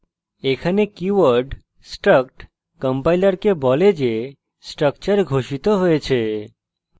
এখানে keyword struct কম্পাইলারকে বলে যে structure ঘোষিত হয়েছে